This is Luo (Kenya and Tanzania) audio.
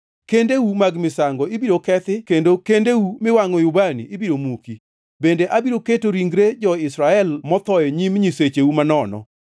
Kendeu mag misango ibiro kethi kendo kendeu miwangʼoe ubani ibiro muki, bende abiro keto ringre jo-Israel motho e nyim nyisecheu manono.